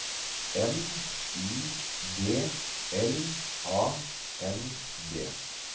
M Y D L A N D